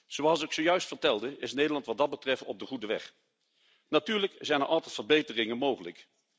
Zoals ik zojuist vertelde is Nederland wat dat betreft op de goede weg. Natuurlijk zijn er altijd verbeteringen mogelijk.